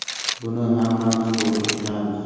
Buni hammamiz to‘g‘ri tushunamiz.